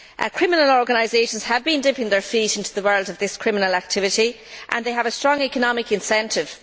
Criminal organisations have been dipping their feet into the world of this criminal activity, and they have a strong economic incentive.